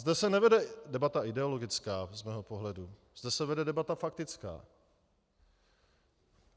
Zde se nevede debata ideologická z mého pohledu, zde se vede debata faktická.